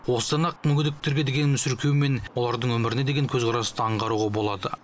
осыдан ақ мүгедектерге деген мүсіркеу мен олардың өміріне деген көзқарасты аңғаруға болады